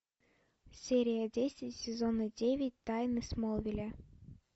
серия десять сезона девять тайны смолвиля